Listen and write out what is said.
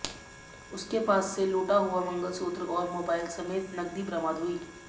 उसके पास से लूटा हुआ मंगलसूत्र और मोबाइल समेत नकदी बरामद हुई